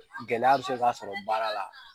Gɛlɛya bi se ka sɔrɔ baara la